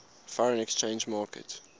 foreign exchange market